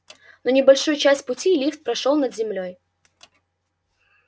но небольшую часть пути лифт прошёл под землёй